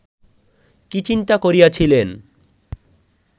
কি চিন্তা করিয়াছিলেন